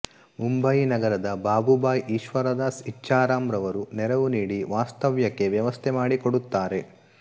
ಮುಂಬಯಿ ನಗರದ ಬಾಬುಭಾಯ್ ಈಶ್ವರದಾಸ್ ಇಚ್ಛಾರಾಮ್ ರವರು ನೆರವು ನೀಡಿ ವಾಸ್ತವ್ಯಕ್ಕೆ ವ್ಯವಸ್ಥೆ ಮಾಡಿಕೊಡುತ್ತಾರೆ